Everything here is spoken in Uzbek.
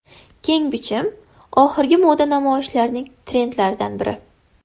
Keng bichim oxirgi moda namoyishlarining trendlaridan biri.